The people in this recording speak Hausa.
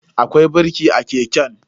Akwai birki a keken.